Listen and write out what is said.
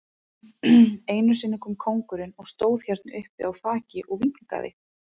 Einu sinni kom kóngurinn og stóð hérna uppi á þaki og vinkaði.